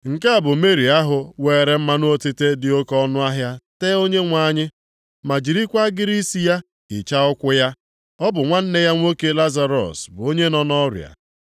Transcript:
Nke a bụ Meri ahụ weere mmanụ otite dị oke ọnụahịa tee Onyenwe anyị, ma jirikwa agịrị isi ya hichaa ụkwụ ya. Ọ bụ nwanne ya nwoke Lazarọs bụ onye nọ nʼọrịa.